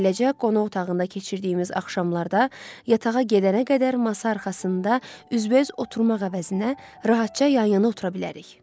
Beləcə qonaq otağında keçirdiyimiz axşamlarda yatağa gedənə qədər masa arxasında üzbəüz oturmaq əvəzinə rahatca yan-yana otura bilərik.